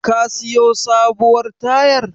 Ka siyo sabuwar tayar?